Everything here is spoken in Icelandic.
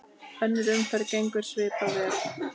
Önnur umferð gengur svipað vel.